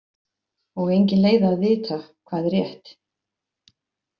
Og engin leið að vita hvað er rétt.